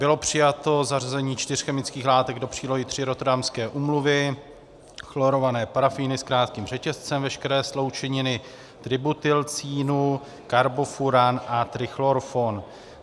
Bylo přijato zařazení čtyř chemických látek do přílohy III Rotterdamské úmluvy, chlorované parafíny s krátkým řetězcem, veškeré sloučeniny tributylcínu, karbofuran a trichlorfon.